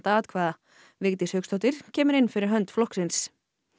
atkvæða Vigdís Hauksdóttir kemur inn fyrir hönd flokksins